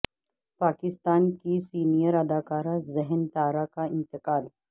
پاکستان کی سینئر اداکارہ ذہین طاہرہ کا انتقال